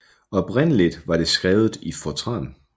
Oprindeligt var det skrevet i fortran